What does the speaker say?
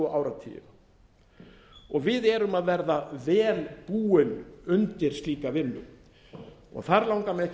tvo áratugi við erum að verða vel búin undir slíka vinnu þar langar mig ekki